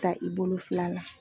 Ta i bolo fila la.